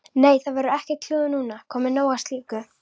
Nei, það verður ekkert klúður núna, komið nóg af slíku.